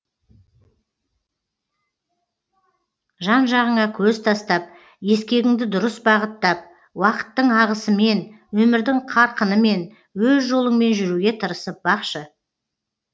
жан жағыңа көз тастап ескегіңді дұрыс бағыттап уақыттың ағысымен өмірдің қарқынымен өз жолыңмен жүруге тырысып бақшы